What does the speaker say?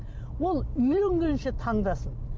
ол үйленгенше таңдасын